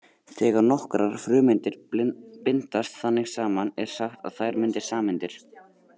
Þegar nokkrar frumeindir bindast þannig saman er sagt að þær myndi sameindir.